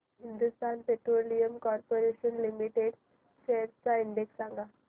Hindustan petroleum corporation limited shares चा index सांगा